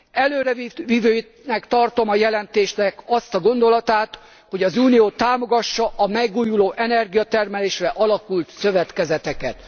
Előrevivőnek tartom a jelentésnek azt a gondolatát, hogy az Unió támogassa a megújuló energiatermelésre alakult szövetkezeteket.